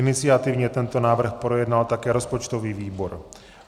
Iniciativně tento návrh projednal také rozpočtový výbor.